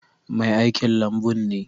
Mai aikin lambun ne.